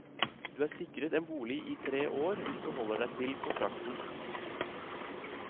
Du er sikret en bolig i tre år hvis du holder deg til kontrakten.